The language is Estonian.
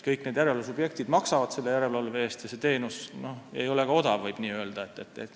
Kõik järelevalvesubjektid maksavad järelevalve eest ja võib öelda, et see teenus ei ole odav.